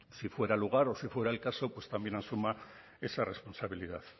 si fuera el lugar o si fuera el caso pues también asuma esa responsabilidad